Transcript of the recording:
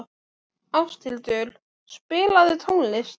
Ásthildur, spilaðu tónlist.